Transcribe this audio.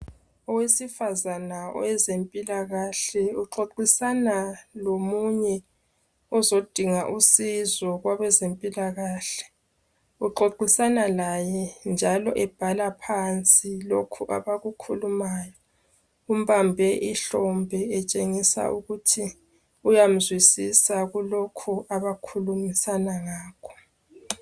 Owesifazana owezempilakahle uxoxisana lomunye ozodinga usizo kwabezempilakahle uxoxisana laye njalo ebhala phansi lokhu abakukhulumayo umbambe ihlombe etshengisa ukuthi uyamzwisisa kulokhu abakhulumisana ngakho.